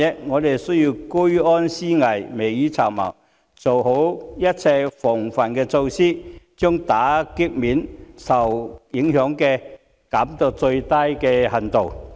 我們需要居安思危，未雨綢繆，做好一切防範措施，將打擊面或受影響的層面減至最低。